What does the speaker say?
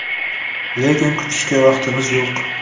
Lekin kutishga vaqtimiz yo‘q.